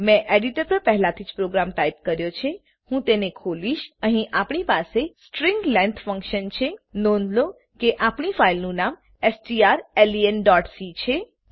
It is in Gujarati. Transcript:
મેં એડીટર પર પહેલાંથી જ પ્રોગ્રામ ટાઈપ કર્યો છે હું તેને ખોલીશ અહીં આપણી પાસે સ્ટ્રીંગ લેંગ્થ ફંકશન છે નોંધ લો કે આપણી ફાઈલનું નામ strlenસી છે